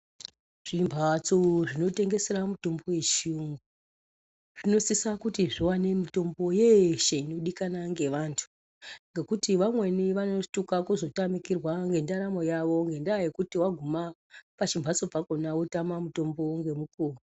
Zvimbatso zvinotengesera mitombo yechiyungu zvinosisa kuti zviwane mitombo yeshe inodikana ngevantu ngekuti vamweni vanotuka kuzotamikirwa ngendaramo yavo ngendaa yekuti waguma pachimhatso pakhona wotama mutombo ngemukuwo.